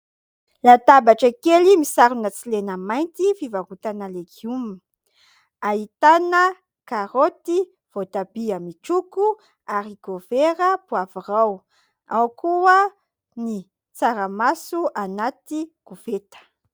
Latabatra kely misarona tsy lena mainty, fivarotana legioma. Ahitana karoty, voatabia amin'ny toko, "haricot vert", poavirao. Ao koa ny tsaramaso anaty koveta.